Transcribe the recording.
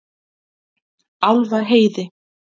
Álfaheiði